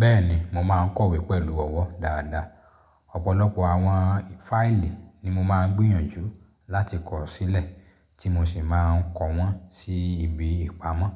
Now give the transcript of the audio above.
Bẹ́ẹ̀ni, mo máa ń kọ̀wé pẹ̀lú ọwọ́ dáadáa. Ọ̀pọ̀lọpọ̀ àwọn file ni mo máa ń gbíyànjú láti kọ̀rọ̀ sílẹ̀ tí mo sì máa ń kọ wọ́n sí ibi ìpamọ́.